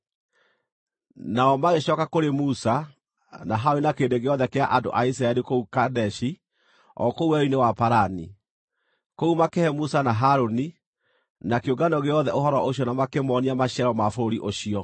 Nao magĩcooka kũrĩ Musa, na Harũni na kĩrĩndĩ gĩothe kĩa andũ a Isiraeli kũu Kadeshi o kũu Werũ-inĩ wa Parani. Kũu makĩhe Musa na Harũni, na kĩũngano gĩothe ũhoro ũcio na makĩmoonia maciaro ma bũrũri ũcio.